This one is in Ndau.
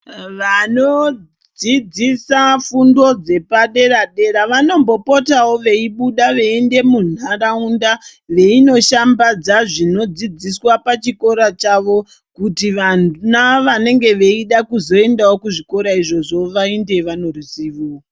Vanodzidzisa fundo dzepadera dera vanombopotawo veibuda veienda mundaraunda veindoshambadza zvinodzidziswa pachikora chawo kuti vana vanenge veida kuzoenda kuzvikora izvozvo vaende vane ruzivo.